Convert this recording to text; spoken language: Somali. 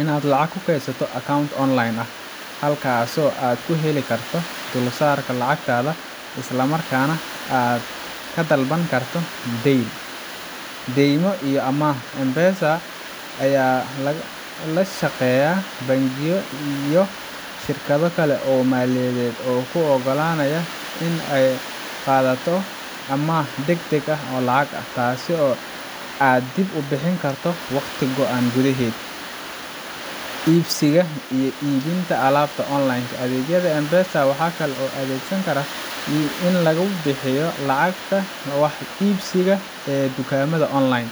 inaad lacag ku kaydsato account online ah, halkaasoo aad ku heli karto dulsaarka lacagtaada, isla markaana aad ka dalban karto deyn. Deymo iyo amaah: M-Pesa ayaa la shaqeeya bangiyo iyo shirkado kale oo maaliyadeed oo kuu oggolaanaya inaad ka qaadato amaah degdeg ah oo lacag ah, taasoo aad dib u bixin karto waqti go’an gudaheed. Iibsiga iyo iibinta alaabta online ka: Adeegyada M-Pesa waxaa loo adeegsan karaa in lagu bixiyo lacagta wax iibsiga ee dukaamada online.